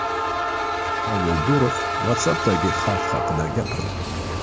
Pavel Durov WhatsApp’dagi xavf haqida gapirdi.